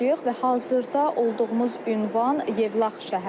Və hazırda olduğumuz ünvan Yevlax şəhəridir.